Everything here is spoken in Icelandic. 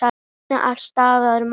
Það vantaði alls staðar mat.